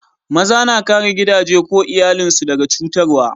Maza na kare gidaje ko iyallin su daga cutarwa.